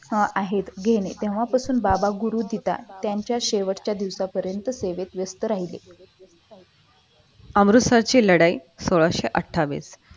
हा आहेत घेणे तेव्हापासून बाबा गुरु त्याच्या शेवटच्या दिवसापर्यंत त्यांच्यात व्यस्त राहले अमृतसर ची लढाई सोळाशे अठ्ठावीस